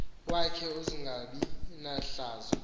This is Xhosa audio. wakhe uzungabi nahlazo